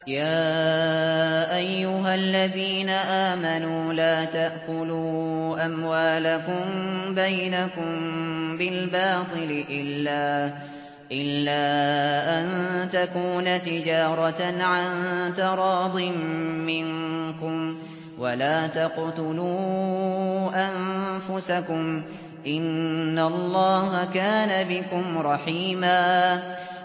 يَا أَيُّهَا الَّذِينَ آمَنُوا لَا تَأْكُلُوا أَمْوَالَكُم بَيْنَكُم بِالْبَاطِلِ إِلَّا أَن تَكُونَ تِجَارَةً عَن تَرَاضٍ مِّنكُمْ ۚ وَلَا تَقْتُلُوا أَنفُسَكُمْ ۚ إِنَّ اللَّهَ كَانَ بِكُمْ رَحِيمًا